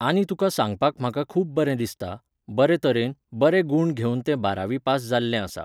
आनी तुका सांगपाक म्हाका खूब बरें दिसता, बरे तरेन, बरे गूण घेवन तें बारावी पास जाल्लें आसा.